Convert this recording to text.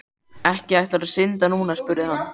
Ekki ætlarðu að synda núna? spurði hann.